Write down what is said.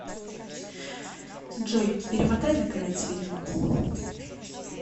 джой перемотай на конец фильма